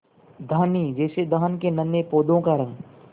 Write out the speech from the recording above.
धानी जैसे धान के नन्हे पौधों का रंग